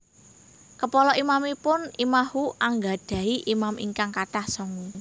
Kepala imamipun imahhu anggadhahi imam ingkang kathah tsongu